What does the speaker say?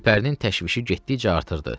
Gülpərinin təşvişi getdikcə artırdı.